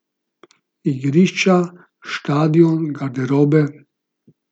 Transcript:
Igrišča, štadion, garderobe ...